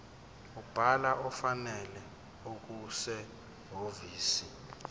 umbhalo ofanele okusehhovisi